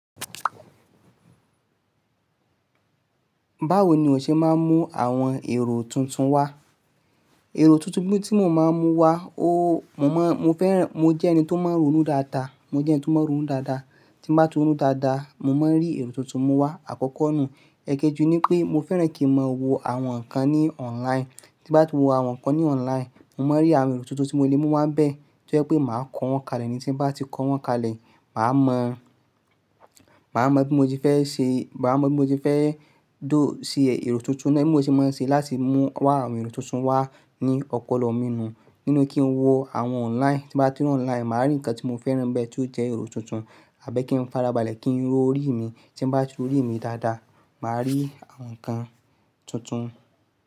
Báwo ni o ṣe máa ń mú àwọn èrò tuntun wá? Èrò tuntun tí mo máa ń mú wá, o, mo ma, mo fẹ́ràn, mo jẹ́ ẹni tó mọ́ ronú dáadáa, mo jẹ́ ẹni tó mọ̀ ọ́ ronú dáadáa. Tí bá tu ronú dáadáa, mo máa ń rí èrò tuntun mú wá. Àkọ́kọ́ nù, ẹkẹji ní pé mo fẹ́ràn kí mo wo àwọn nǹkan ní online. Tí bá ti wo àwọn nǹkan ní online, mo máa ń rí àwọn èrò tuntun tí mo lè mú wá bẹ́ẹ̀, tí ó jẹ́ pé màá kọ wọ́n kalẹ̀. Tí bá ti kọ wọ́n kalẹ̀, màá mọ, màá mọ bí mo ti fẹ́ ṣe, màá mọ bí mo ti fẹ́ dóò sí èrò tuntun náà. Bí mo ṣe máa ń ṣe láti mú wá àwọn èrò tuntun wá ni ọpọlọ mi nù, nínú kí n wo àwọn online. Tí bá ti wọ online, màá rí nǹkan tí mo fẹ́ràn nbẹ́, tí ó jẹ́ èrò tuntun. Àbí kí n fara balẹ̀ kí n ro orí mi, tí bá ti ro rí mi dáadáa, màá rí àwọn nǹkan tuntun.